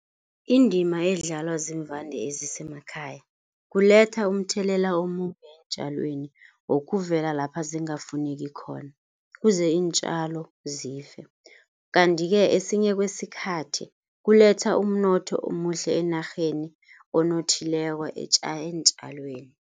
Indima edlalwa ziimvande ezisemakhaya. Kuletha umthelela omumbi eentjalweni, wokuvela lapha zingafuneki khona kuze iintjalo zife. Kanti-ke esinye kwesikhathi kuletha umnotho omuhle enarheni onothileko eentjalweni.